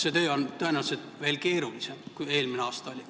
See töö on tõenäoliselt veel keerulisem kui see, mis eelmisel aastal oli.